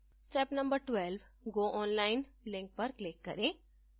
step no 12: go online link पर click करें